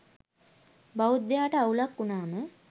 බෞද්ධයාට අවුලක් වුනාම